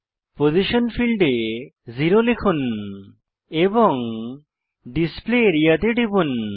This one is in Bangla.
পজিশন ফীল্ডে 0 লিখুন এবং ডিসপ্লে আরিয়া তে টিপুন